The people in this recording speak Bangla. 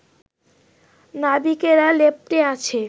নাবিকেরা লেপ্টে আছে